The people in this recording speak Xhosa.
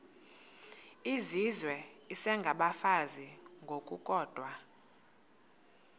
izizwe isengabafazi ngokukodwa